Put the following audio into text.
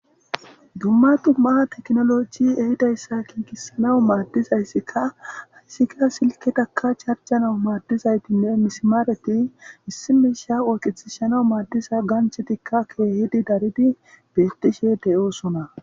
Dumma dummaa teknoloci ehidayssa kinkisanawu maaddizayssika hayssika silketaka charjanau maaddizaytinne misimaareti misimisha oyqitishanau maaddiza ganchetikka keehidi daridi bettishe de7oosona.